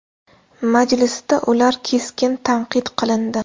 Majlisda ular keskin tanqid qilindi.